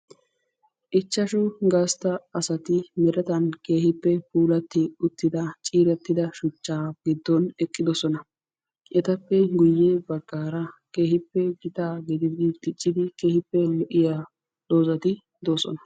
Ichchashshu gastta mertetan puulatti shuchcha gidon uttidosonna. Etta matan lo'iya doozzatti de'osonna.